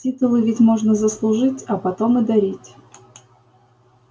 титулы ведь можно заслужить а потом и дарить